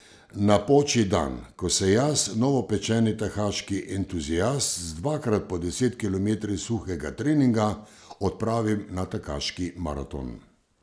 Napoči dan, ko se jaz, novopečeni tekaški entuziast z dvakrat po deset kilometri suhega treninga, odpravim na tekaški maraton.